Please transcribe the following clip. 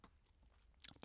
DR2